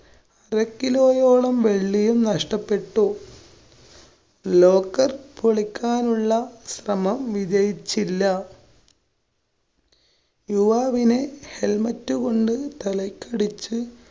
ക്കിലയോളം വെള്ളിയും നഷ്ട്ടപെട്ടു. locker പൊളിക്കാനുള്ള ശ്രമം വിജയിച്ചില്ല. യുവാവിനെ helmet കൊണ്ട് തലക്കടിച്ച്